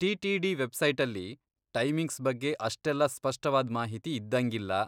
TTD. ವೆಬ್ಸೈಟಲ್ಲಿ timings ಬಗ್ಗೆ ಅಷ್ಟೆಲ್ಲ ಸ್ಪಷ್ಟವಾದ್ ಮಾಹಿತಿ ಇದ್ದಂಗಿಲ್ಲ.